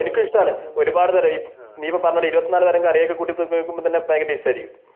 എനിക്കുമിഷ്ടമാണ് ഒരുപാട് നീ ഒരു പറഞ്ഞപോലെ ഇരുപത്തിനാല് തരം കറിക്കൂട്ടി തിന്നു തീർക്കുമ്പോൾ തന്നെ ഭയങ്കര ടേസ്റ്റ് ആയിരിക്കും